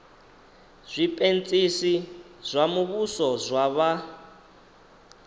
zwipentsisi zwa muvhuso zwa vha